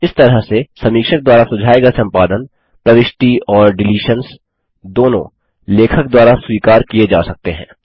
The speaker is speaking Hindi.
इस तरह से समीक्षक द्वारा सुझाये गये संपादन प्रविष्टि और डिलीशन्स दोनों लेखक द्वारा स्वीकार किये जा सकते हैं